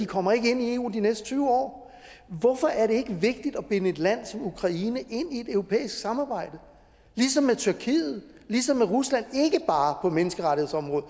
kommer ind i eu de næste tyve år hvorfor er det ikke vigtigt at binde et land som ukraine ind i et europæisk samarbejde ligesom med tyrkiet ligesom med rusland ikke bare på menneskerettighedsområdet